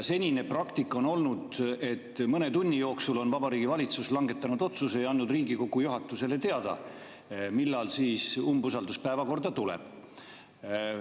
Senine praktika on olnud, et mõne tunni jooksul on Vabariigi Valitsus langetanud otsuse ja andnud Riigikogu juhatusele teada, millal umbusaldus päevakorda tuleb.